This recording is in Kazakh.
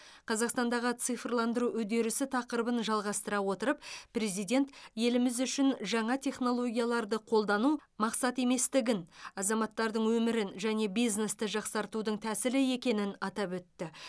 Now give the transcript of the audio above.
қазақстандағы цифрландыру үдерісі тақырыбын жалғастыра отырып президент еліміз үшін жаңа технологияларды қолдану мақсат еместігін азаматтардың өмірін және бизнесті жақсартудың тәсілі екенін атап өтті